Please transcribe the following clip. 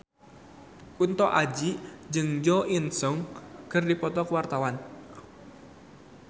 Kunto Aji jeung Jo In Sung keur dipoto ku wartawan